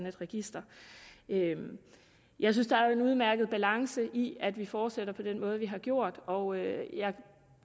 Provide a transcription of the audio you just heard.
et register jeg synes der er en udmærket balance i at vi fortsætter på den måde vi har gjort og jeg